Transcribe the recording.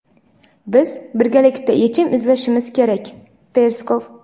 Biz birgalikda yechim izlashimiz kerak – Peskov.